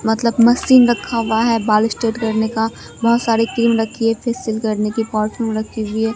मतलब मशीन रखा हुआ है बाल स्ट्रेट करने का बहुत सारे क्रीम रखी है फेसियल करने की परफ्यूम रखी हुई है।